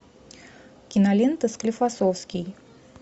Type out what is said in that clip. кинолента склифосовский